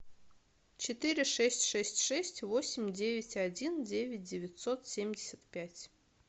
четыре шесть шесть шесть восемь девять один девять девятьсот семьдесят пять